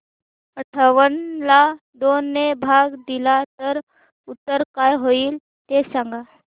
अठावन्न ला दोन ने भाग दिला तर उत्तर काय येईल ते सांगा